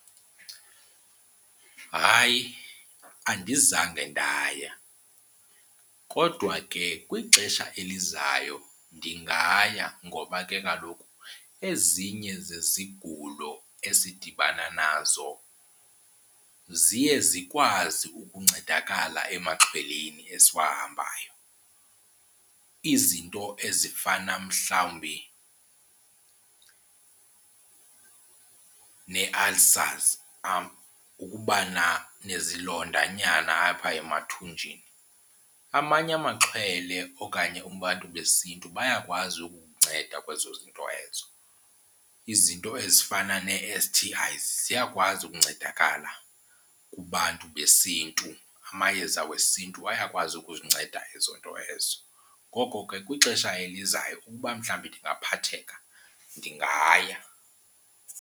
Hayi, andizange ndaya kodwa ke kwixesha elizayo ndingaya ngoba ke kaloku ezinye zezigulo esidibana nazo ziye zikwazi ukuncedakala emaxhweleni esiwahambayo, izinto ezifana mhlawumbi nee-ulcers ukubana nezilondanyana apha emathunjini. Amanye amaxhwele okanye abantu besiNtu bayakwazi ukukunceda kwezo zinto ezo. Izinto ezifana nee-S_T_Is ziyakwazi ukuncedakala kubantu besiNtu, amayeza wesiNtu ayakwazi ukuzinceda ezo nto ezo. Ngoko ke kwixesha elizayo ukuba mhlawumbi ndingaphatheka ndingaya.